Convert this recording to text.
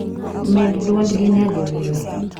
med dwondgi nyadiriyo